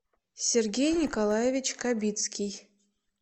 сергей николаевич кабицкий